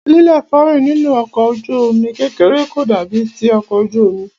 líléfòórìn nínú ọkọ̀ ojú omi kékeré kò dàbí ti ọkọ̀ ojú omi.